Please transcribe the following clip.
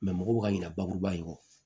mɔgɔw ka ɲina bakuruba in kɔ